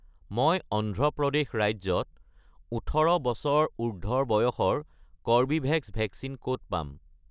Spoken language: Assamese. মই অন্ধ্ৰ প্ৰদেশ ৰাজ্যত ১৮ বছৰ উৰ্ধ্বৰ বয়সৰ কৰ্বীভেক্স ভেকচিন ক'ত পাম?